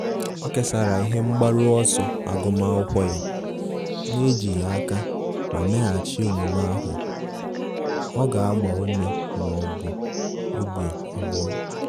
O kesara ihe mgbaru ọsọ agụmakwụkwọ ya, na-ejighi aka ma mmeghachi omume ahu ọ ga-agba ume ma ọ bụ obi abụọ.